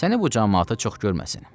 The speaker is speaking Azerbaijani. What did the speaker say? Səni bu camaata çox görməsin.